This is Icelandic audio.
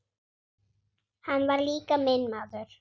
Hann var líka minn maður.